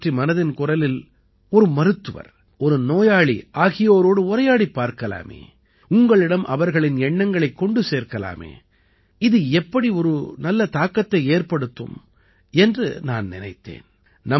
இதைப் பற்றி மனதின் குரலில் ஒரு மருத்துவர் ஒரு நோயாளி ஆகியோரோடு உரையாடிப் பார்க்கலாமே உங்களிடம் அவர்களின் எண்ணங்களைக் கொண்டு சேர்க்கலாமே இது எப்படி ஒரு நல்ல தாக்கத்தை ஏற்படுத்தும் என்று நான் நினைத்தேன்